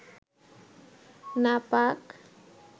নাপাক